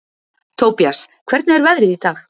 Tobías, hvernig er veðrið í dag?